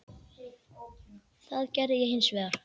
Það gerði ég hins vegar.